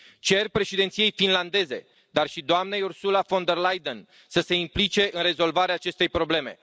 Cer președinției finlandeze, dar și doamnei Ursula von der Leyen, să se implice în rezolvarea acestei probleme.